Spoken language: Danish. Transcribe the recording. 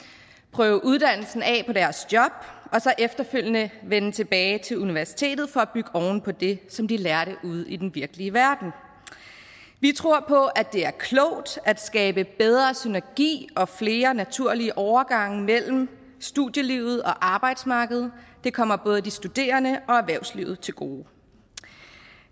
prøve uddannelsen af på deres job og så efterfølgende vende tilbage til universitetet for at bygge oven på det som de lærte ude i den virkelige verden vi tror på at det er klogt at skabe bedre synergi og flere naturlige overgange mellem studielivet og arbejdsmarkedet det kommer både de studerende og erhvervslivet til gode